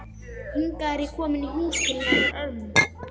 Hingað er ég komin í húsið til hennar ömmu.